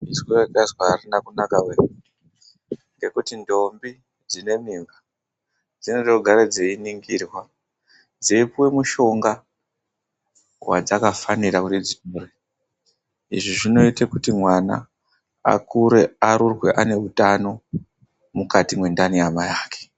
Izwi rendazwa arina kunaka wee! Ngekuti ndombi dzine mimba dzinode kugare dzeiningirwa, dzeipuwe mushonga wadzakafanira kuti dzipuwe. Izvi zvinoite kuti mwana akure, arurwe ane utano mukati mwendani yamai ake.